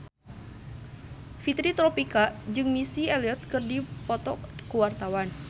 Fitri Tropika jeung Missy Elliott keur dipoto ku wartawan